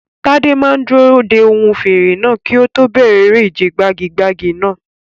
Tade máa dúró de ohùn fèrè náà kí ó tó bẹ̀rẹ̀ eré ìje gbagi-gbagi náà.